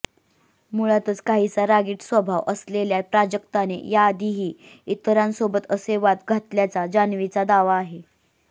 मूळातच काहीसा रागीट स्वभाव असलेल्या प्राजक्ताने याआधीही इतरांसोबत असे वाद घातल्याचा जान्हवीचा दावा आहे